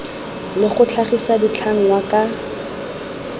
le go tlhagisa ditlhangwa ka